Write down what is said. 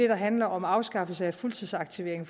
der handler om afskaffelse af fuldtidsaktivering